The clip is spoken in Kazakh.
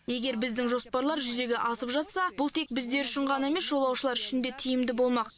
егер біздің жоспарлар жүзеге асып жатса бұл тек біздер үшін ғана емес жолаушылар үшін де тиімді болмақ